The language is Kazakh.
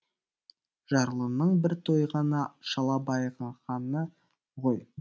жарлының бір тойғаны шала байығаны ғой